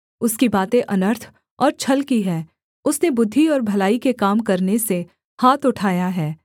उसकी बातें अनर्थ और छल की हैं उसने बुद्धि और भलाई के काम करने से हाथ उठाया है